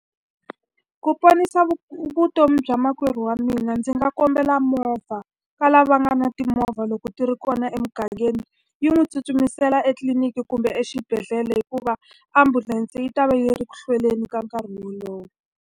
Ku ponisa vutomi bya makwerhu wa mina ndzi nga kombela movha ka lava nga na timovha loko ti ri kona emugangeni, yi n'wi tsutsumisela etliliniki kumbe exibedhlele hikuva ambulense yi ta va yi ri ku hlweleni ka nkarhi wolowo.